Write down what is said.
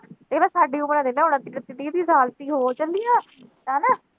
ਇਹ ਤਾਂ ਸਾਡੀ ਉਮਰ ਦੀ ਆ ਵੇਖ ਲਾ ਹੁਣ, ਇਕੱਤੀ-ਤੀਹ ਸਾਲ ਦੀ ਹੋ ਚੱਲੀ ਆ, ਹਨਾ